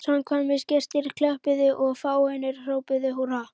Samkvæmisgestir klöppuðu og fáeinir hrópuðu húrra.